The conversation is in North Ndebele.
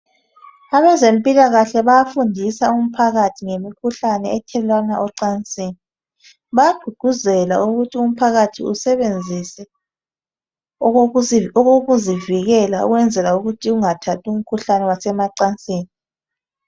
Abezempikahle bayafundisa umphakathi ngemikhuhlane ethelelwana emacansini. Bayagququzela umphakathi ukuthi usebenzise okokuzivikela ukwezela ukuthi ungathathi imkhuhlane wasemacansini.